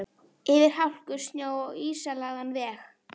Yfir hálku, snjó og ísilagðan veg.